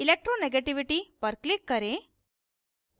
electronegativity पर click करें